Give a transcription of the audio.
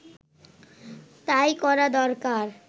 তাই করা দরকার